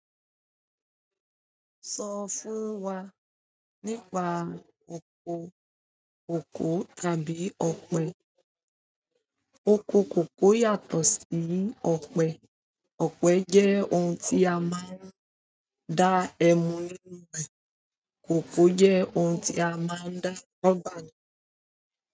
Sọ fún wa nípa oko kòkó tàbí ọ̀pẹ. Oko kòkó yàtọ̀ sí ọ̀pẹ. Ọ̀pẹ jẹ́ oun tí a máa ń dá ẹmu nínú rẹ̀. Kòkó jẹ́ oun tí a máa ń dá rubber nínú rẹ̀.